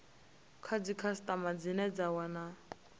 kha dzikhasitama dzine dza wana